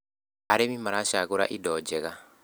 arĩmi maracagura indo njega